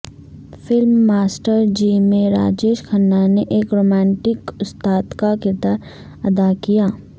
film master ji میں راجیش کھنہ نے ایک رومانٹک استاد کا کردار ادا کیا